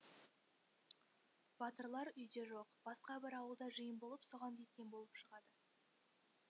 батырлар үйде жоқ басқа бір ауылда жиын болып соған кеткен болып шығады